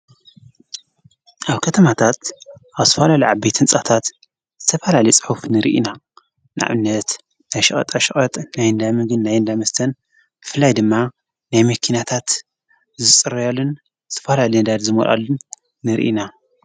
ኣብ ከተማታት ኣብ ዝፈላልዩዓበ ህንጻታት ዝተፍላሊጽሑፍ ንርኢና ንአብነት ኣሽቐጥ ኣሽቐጠ ናይ ንዳምግን ናይ ንዳምስተን ፍላይ ድማ ናይምኪናታት ዝጽረያሉን ዝፈላ ሊንዳድ ዝመልሉን ንርኢና፡፡